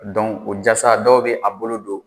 o jasa dɔw bɛ a bolo don